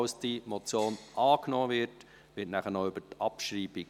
Falls die Motion angenommen wird, befinden wir nachher noch über die Abschreibung.